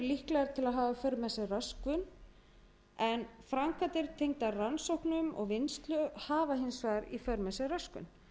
líklegar til að hafa í för með sér röskun en framkvæmdir tengdar rannsóknum og vinnslu hafa í för með sér röskun